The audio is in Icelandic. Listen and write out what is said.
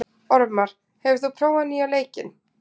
Ormar, hefur þú prófað nýja leikinn?